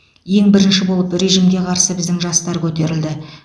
ең бірінші болып режимге қарсы біздің жастар көтерілді